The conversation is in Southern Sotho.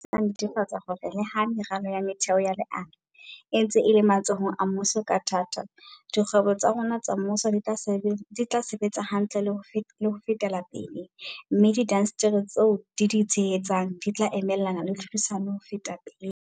Diphetoho tsena di tla netefatsa hore le ha meralo ya metheo ya leano e ntse e le matsohong a mmuso ka thata, dikgwebo tsa rona tsa mmuso di tla sebetsa hantle le ho feta pele, mme diindasteri tseo di di tshehetsang di tla emelana le tlhodisano ho feta pele.